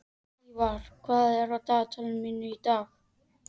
Hlífar, hvað er á dagatalinu mínu í dag?